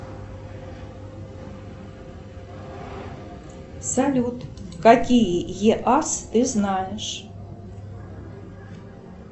салют какие еас ты знаешь